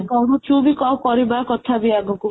କହୁଛୁ ବି କଣ ପଢିବା କଥବି ଆଗକୁ